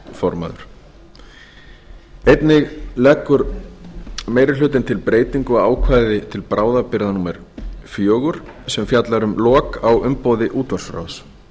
stjórnarmaður einnig leggur meiri hlutinn til breytingu á ákvæði til bráðabirgða fjögur sem fjallar um lok á umboði útvarpsráðs